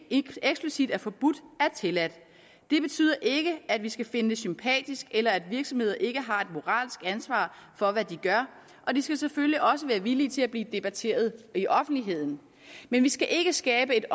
eksplicit er forbudt er tilladt det betyder ikke at vi skal finde det sympatisk eller at virksomheder ikke har et moralsk ansvar for hvad de gør og de skal selvfølgelig også være villige til at blive debatteret i offentligheden men vi skal ikke skabe et